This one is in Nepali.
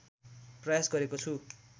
प्रयास गरेको छु